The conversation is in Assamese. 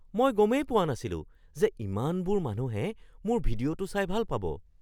মই গমেই পোৱা নাছিলো যে ইমানবোৰ মানুহে মোৰ ভিডিঅ'টো চাই ভাল পাব!